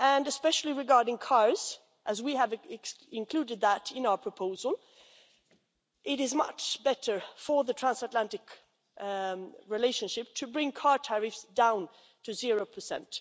Especially regarding cars, as we have included that in our proposal, it is much better for the transatlantic relationship to bring car tariffs down to zero percent.